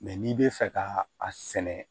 Mɛ n'i bɛ fɛ ka a sɛnɛ